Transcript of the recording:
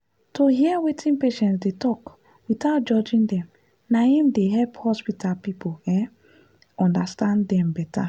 to hear wetin patients dey talk without judging dem na im dey help hospital people um understand dem better.